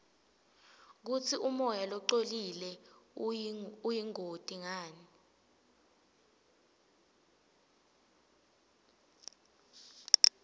kutsi umoya longcolile uyingoti ngani